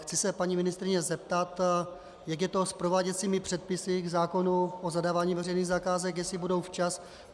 Chci se paní ministryně zeptat, jak je to s prováděcími předpisy k zákonu o zadávání veřejných zakázek, jestli budou včas.